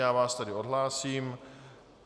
Já vás tedy odhlásím.